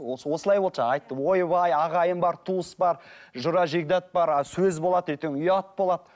осылай болды жаңа айтты ойбай ағайын бар туыс бар жора жекжат бар ы сөз болады ертең ұят болады